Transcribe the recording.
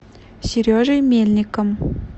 сережей мельником